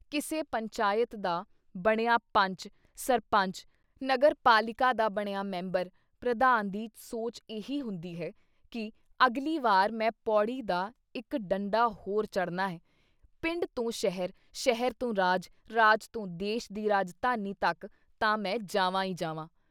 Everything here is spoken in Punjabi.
ਕਿਸੇ ਪੰਚਾਇਤ ਦਾ ਬਣਿਆ ਪੰਚ, ਸਰਪੰਚ ਨਗਰਪਾਲਿਕਾ ਦਾ ਬਣਿਆ ਮੈਂਬਰ, ਪ੍ਰਧਾਨ ਦੀ ਸੋਚ ਇਹੀ ਹੁੰਦੀ ਹੈ ਕਿ ਅਗਲੀ ਵਾਰ ਮੈਂ ਪੌੜੀ ਦਾ ਇੱਕ ਡੰਡਾ ਹੋਰ ਚੜ੍ਹਨਾ ਹੈ, ਪਿੰਡ ਤੋਂ ਸ਼ਹਿਰ, ਸ਼ਹਿਰ ਤੋਂ ਰਾਜ, ਰਾਜ ਤੋਂ ਦੇਸ਼ ਦੀ ਰਾਜਧਾਨੀ ਤੱਕ ਤਾਂ ਮੈਂ ਜਾਵਾਂ ਈ ਜਾਵਾਂ।"